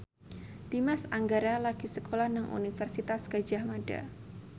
Dimas Anggara lagi sekolah nang Universitas Gadjah Mada